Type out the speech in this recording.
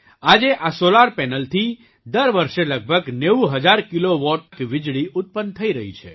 આજે આ સૉલાર પેનલથી દર વર્ષે લગભગ 90 હજાર કિલો વૉટ વીજળી ઉત્પન્ન થઈ રહી છે